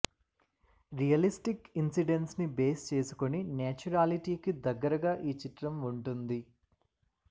realistic ఇన్సిడెంట్స్ని base చేసుకొని నేచురాలిటీకి దగ్గరగా ఈ చిత్రం వుంటుంది